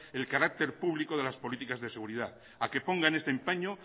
el carácter público de las políticas de seguridad a que ponga en este empeño